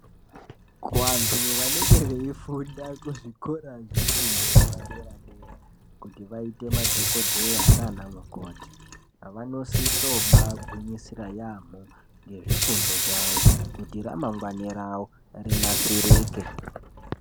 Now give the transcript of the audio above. Kuvantu vanenge veifunda kuzvikora zvefundo yepaderadera kuti vaite madhokodheya nana mukoti vanosiso bagwinyisira yamho ngezvifundo zvavo kuti ramangwani ravo rinasirike .